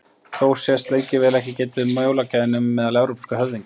Þó sést lengi vel ekki getið um jólagjafir nema meðal evrópskra höfðingja.